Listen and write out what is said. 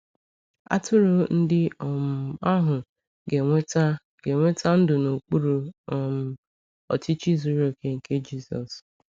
Atụrụ ndị um ahụ ga-enweta ga-enweta ndụ n’okpuru um ọchịchị zuru oke nke Jisọs.